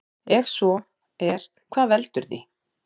Ef svo er hvað veldur því?